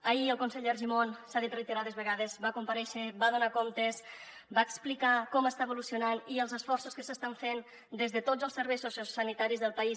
ahir el conseller argimon s’ha dit reiterades vegades va comparèixer va donar comptes va explicar com està evolucionant i els esforços que s’estan fent des de tots els serveis sociosanitaris del país